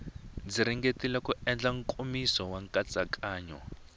ringetile ku endla nkomiso nkatsakanyo